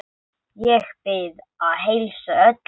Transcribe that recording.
Ég bið að heilsa öllum.